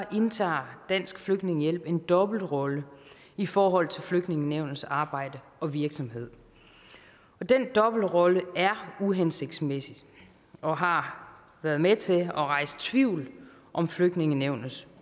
indtager dansk flygtningehjælp en dobbeltrolle i forhold til flygtningenævnets arbejde og virksomhed og den dobbeltrolle er uhensigtsmæssig og har været med til at rejse tvivl om flygtningenævnets